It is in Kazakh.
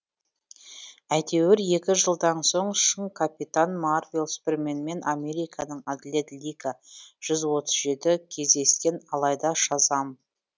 әйтеуір екі жылдан соң шың капитан марвел суперменмен американың әділет лига жүз отыз жеті кездескен алайда шазам